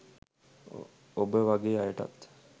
ඔබ වගෙ අයටත්